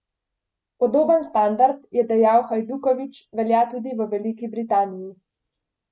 Podoben standard, je dejal Hajdukovič, velja tudi v Veliki Britaniji.